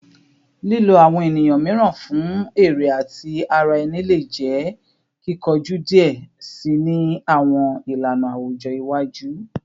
Lilo awọn eniyan miiran fun ere ti ara ẹni le jẹ kikoju diẹ sii ni awọn ilana awujọ iwaju